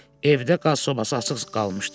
Evdə qaz sobası açıq qalmışdı.